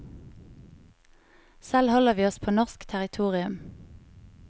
Selv holder vi oss på norsk territorium.